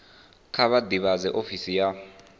kha vha ḓivhadze ofisi ya